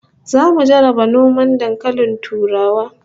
Zamu jarraba noman dankalin turawa